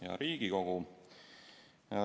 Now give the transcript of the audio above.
Hea Riigikogu!